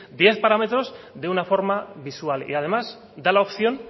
diez parámetros de una forma visual y además da la opción